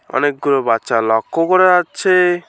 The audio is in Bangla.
অনেকগুলো বাচ্চা লক্ষ্য করা যাচ্ছে।